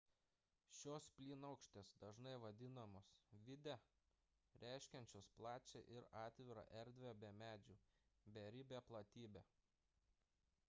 šios plynaukštės dažnai vadinamos vidde reiškiančios plačią ir atvirą erdvę be medžių beribę platybę